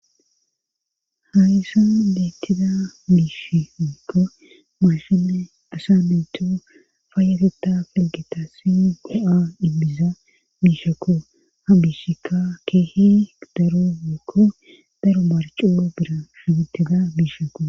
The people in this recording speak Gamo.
Ha isan deettida biishi eokko maashime asa meytu faayageta pelgeta si go7a imbiza biishakko ha biishika keehi daro gekko daro marcuo bira shigitida biishakko